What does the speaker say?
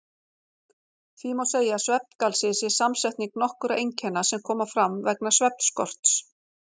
Því má segja að svefngalsi sé samsetning nokkurra einkenna sem koma fram vegna svefnskorts.